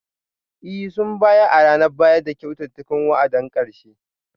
Ee, sun bayar a ranar bayar da kyautar wa'adin karshe?